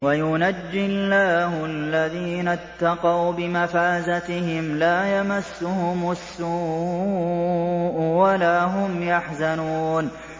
وَيُنَجِّي اللَّهُ الَّذِينَ اتَّقَوْا بِمَفَازَتِهِمْ لَا يَمَسُّهُمُ السُّوءُ وَلَا هُمْ يَحْزَنُونَ